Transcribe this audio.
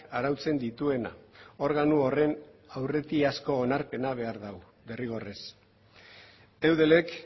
arautzen dituena organo horren aurretik asko onarpena behar da derrigorrez eudelek